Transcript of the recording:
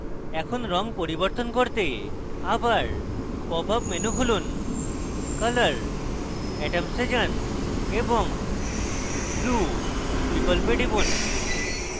এখন রঙ পরিবর্তন করতে আবার popup menu খুলুন color atoms এ যান এবং blue বিকল্পে টিপুন